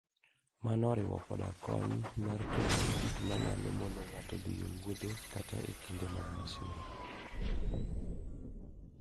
Mano oriwo koda kony mar kedo gi gik manyalo mono ng'ato dhi e wuodhe kata e kinde mag masira.